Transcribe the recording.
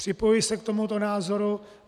Připojuji se k tomuto názoru.